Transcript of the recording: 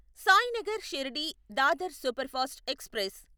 Sainagar Shirdi Dadar superfast express